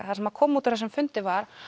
það sem kom út úr þessum fundi var